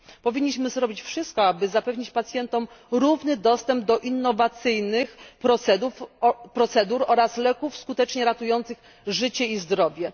Powinniśmy zrobić wszystko, aby zapewnić pacjentom równy dostęp do innowacyjnych procedur oraz leków skutecznie ratujących życie i zdrowie.